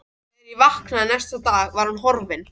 Þegar ég vaknaði næsta dag var hún horfin.